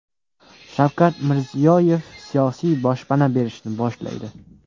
Shavkat Mirziyoyev siyosiy boshpana berishni boshlaydi.